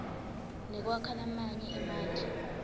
nekwakha lamanye emandla